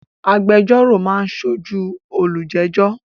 Agbẹjọ́rò máa ń sójúu olùjẹ́jọ́